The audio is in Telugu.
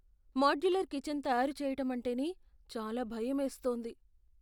మాడ్యులర్ కిచెన్ తయారు చేయటం అంటేనే చాలా భయమేస్తోంది.